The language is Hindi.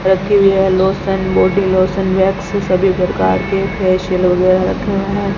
रखी है लोशन बॉडी लोशन वैक्स सभी प्रकार के फेशियल वगैरा रखे हुए हैं।